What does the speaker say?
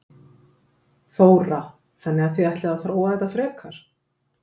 Þóra: Þannig að þið ætlið að þróa þetta frekar?